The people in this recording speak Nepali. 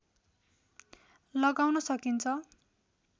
लगाउन सकिन्छ